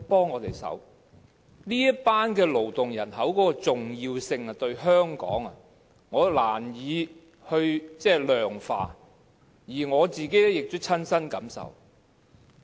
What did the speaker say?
我難以量化這群勞動人口對香港的重要性，而我亦親身感受到。